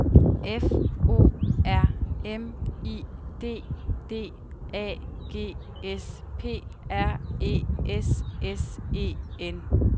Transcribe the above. F O R M I D D A G S P R E S S E N